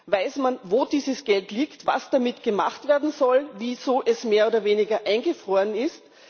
Weiß man, wo dieses Geld liegt, was damit gemacht werden soll, wieso es mehr oder weniger eingefroren ist?